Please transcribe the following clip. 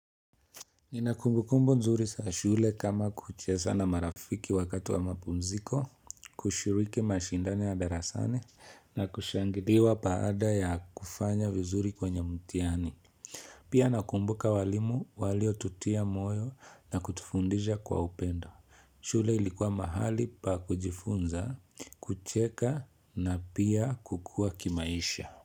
Nina kumbukumbu nzuri za shule kama kucheza na marafiki wakati wa mapumziko, kushiriki mashindano ya darasani, na kushangiliwa baada ya kufanya vizuri kwenye mtihani. Pia nakumbuka walimu walio tutia moyo, na kutufundisha kwa upendo. Shule ilikuwa mahali pa kujifunza, kucheka, na pia kukua kimaisha.